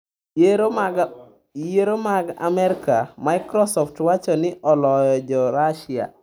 Yiero mag Amerka: Microsoft wacho ni oloyo jo Russia